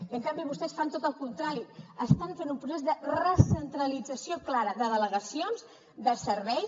i en canvi vostès fan tot el contrari estan fent un procés de recentralització clara de delegacions de serveis